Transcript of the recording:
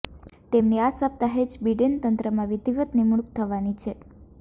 તેમની આ સપ્તાહે જ બિડેન તંત્રમાં વિધિવત નીમણૂક થવાની છે